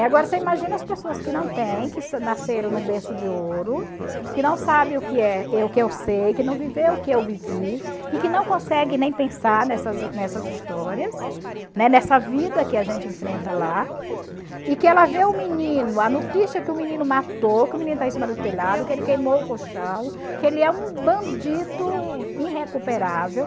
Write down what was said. Agora, você imagina as pessoas que não têm, que nasceram no berço de ouro, que não sabem o que é o que eu sei, que não viveu o que eu vivi, e que não conseguem nem pensar nessas nessas histórias, né, nessa vida que a gente enfrenta lá, e que ela vê o menino, a notícia que o menino matou, que o menino está em cima do telhado, que ele queimou o colchão, que ele é um bandido irrecuperável.